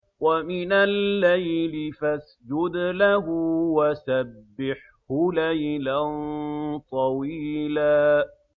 وَمِنَ اللَّيْلِ فَاسْجُدْ لَهُ وَسَبِّحْهُ لَيْلًا طَوِيلًا